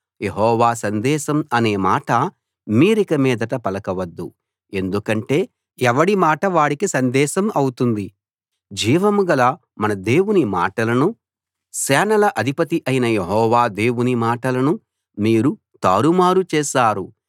యెహోవా సందేశం అనే మాట మీరికమీదట పలకవద్దు ఎందుకంటే ఎవడి మాట వాడికి సందేశం అవుతుంది జీవంగల మన దేవుని మాటలను సేనల అధిపతి అయిన యెహోవా దేవుని మాటలను మీరు తారుమారు చేశారు